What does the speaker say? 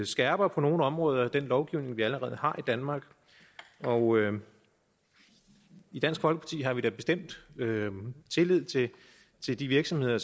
skærper på nogle områder den lovgivning vi allerede har i danmark og i dansk folkeparti har vi da bestemt tillid til de virksomheder